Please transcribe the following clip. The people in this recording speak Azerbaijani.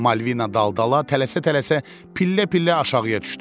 Malvina daldala tələsə-tələsə pillə-pillə aşağıya düşdü.